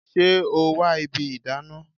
Ṣé o wa ibi ìdáná?